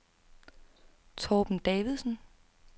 Torben Davidsen